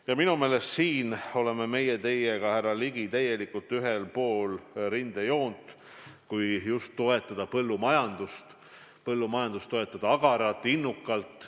Ja minu meelest siin me oleme teiega, härra Ligi, täielikult ühel pool rindejoont, kui me tahame toetada põllumajandust, toetada agaralt ja innukalt.